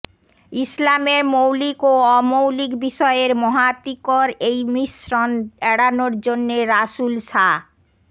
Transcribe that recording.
ইসলামের মৌলিক ও অমৌলিক বিষয়ের মহা তিকর এই মিশ্রণ এড়ানোর জন্যে রাসূল সা